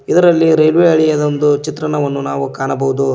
ಇದರಲ್ಲಿ ರೈಲ್ವೆ ಹಳಿಯದೊಂದು ಚಿತ್ರಣವನ್ನು ನಾವು ಕಾಣಬಹುದು.